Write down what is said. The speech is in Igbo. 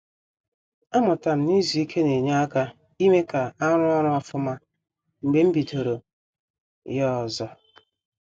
A mụtara m na-izu ike na-enye aka ime ka a ruo ọrụ ofuma mgbe m bidoro ya ọzọ